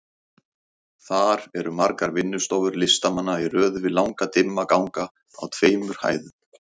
Þar eru margar vinnustofur listamanna í röð við langa dimma ganga á tveimur hæðum.